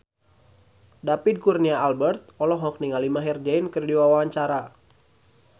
David Kurnia Albert olohok ningali Maher Zein keur diwawancara